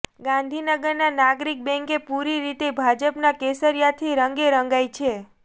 ગાંધીનગર નાગરિક બેંક પુરી રીતે ભાજપના કેસરિયાથી રંગે રંગાઈ છે